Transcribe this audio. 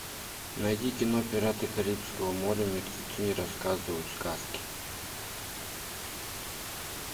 найди кино пираты карибского моря мертвецы не рассказывают сказки